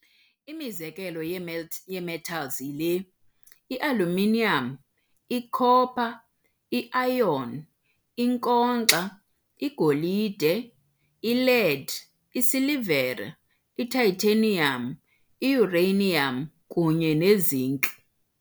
Imizekelo yee-metals yile- i-aluminium, i-copper, i-iron, i-nkonkxa, igolide, i-lead, i-silivere, i-titanium, i-uranium, kunye ne-zinc.